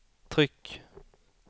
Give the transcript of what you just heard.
tryck